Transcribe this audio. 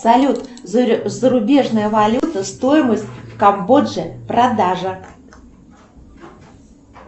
салют зарубежная валюта стоимость в камбодже продажа